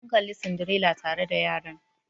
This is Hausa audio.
Mun Kalli Cinderella tare da yaran.